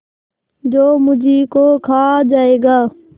जो मुझी को खा जायगा